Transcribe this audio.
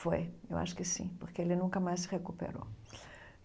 Foi, eu acho que sim, porque ele nunca mais se recuperou.